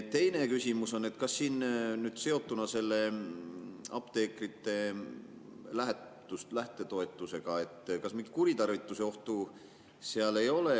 Teine küsimus on: ega seotuna apteekrite lähtetoetusega mingit kuritarvituse ohtu ei ole?